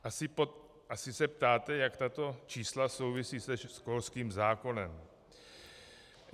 Asi se ptáte, jak tato čísla souvisí se školským zákonem.